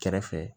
Kɛrɛfɛ